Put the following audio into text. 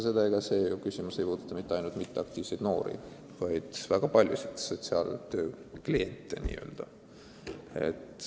Ega see küsimus ei puuduta ju ainult mitteaktiivseid noori, vaid väga paljusid muidki n-ö sotsiaaltöötajate kliente.